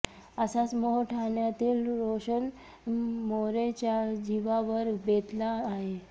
असाच मोह ठाण्यातील रोशन मोरेच्या जीवावर बेतला आहे